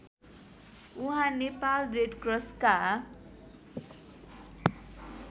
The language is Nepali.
उहाँ नेपाल रेडक्रसका